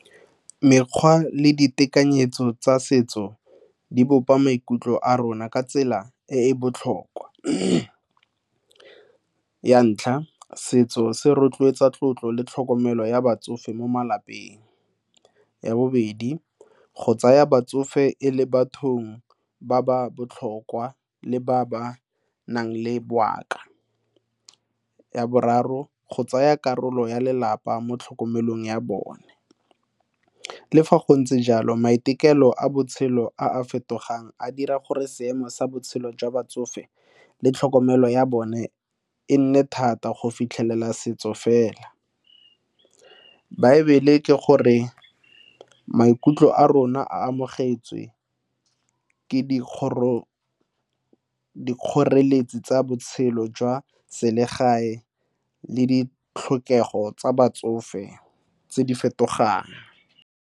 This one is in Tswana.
Mekgwa le ditekanyetso tsa setso di bopa maikutlo a rona ka tsela e e botlhokwa. Ya ntlha, setso se rotloetsa tlotlo le tlhokomelo ya batsofe mo malapeng. Ya bobedi, go tsaya batsofe e le bathong ba ba botlhokwa le ba ba nang le bongaka. Ya boraro, go tsaya karolo ya lelapa mo tlhokomelong ya bone. Le fa go ntse jalo maiteko pelo a botshelo a fetogang a dira gore seemo sa botshelo jwa batsofe le tlhokomelo ya bone e nne thata go fitlhelela setso fela. Baebele ke gore maikutlo a rona a amogetswe ke dikgoreletsi tsa botshelo jwa selegae le ditlhokego tsa batsofe tse di fetogang.